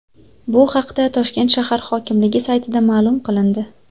Bu haqda Toshkent shahar hokimligi saytida ma’lum qilindi .